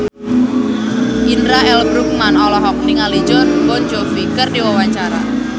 Indra L. Bruggman olohok ningali Jon Bon Jovi keur diwawancara